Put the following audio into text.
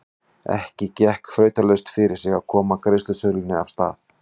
Ekki gekk þrautalaust fyrir sig að koma greiðasölunni af stað.